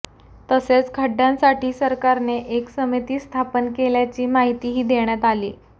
तसेच खड्डयांसाठी सरकारने एक समिती स्थापन केल्याची माहितीही देण्यात आली